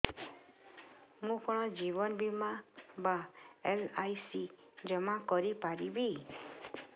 ମୁ କଣ ଜୀବନ ବୀମା ବା ଏଲ୍.ଆଇ.ସି ଜମା କରି ପାରିବି